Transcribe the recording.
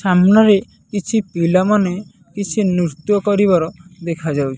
ସାମ୍ନାରେ କିଛି ପିଲାମାନେ କିଛି ନୃତ୍ୟ କରିବାର ଦେଖାଯାଉଚି ।